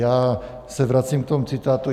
Já se vracím k tomu citátu.